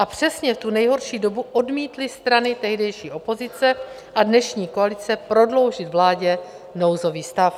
A přesně v tu nejhorší dobu odmítly strany tehdejší opozice a dnešní koalice prodloužit vládě nouzový stav.